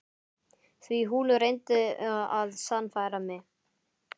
Því hún reyndi að sannfæra mig.